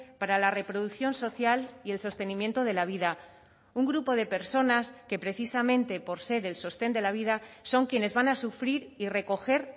para la reproducción social y el sostenimiento de la vida un grupo de personas que precisamente por ser el sostén de la vida son quienes van a sufrir y recoger